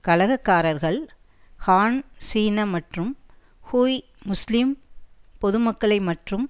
கலகக்காரர்கள் Han சீன மற்றும் Hui முஸ்லீம் பொதுமக்களை மற்றும்